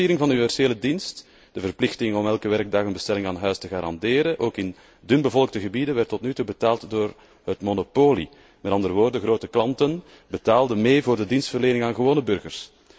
De financiering van een universele dienst, de verplichting om elke werkdag een bestelling aan huis te garanderen, ook in dunbevolkte gebieden, werd tot nu betaald door het monopolie, met andere woorden grote klanten betaalden mee voor de dienstverlening aan gewone burgers.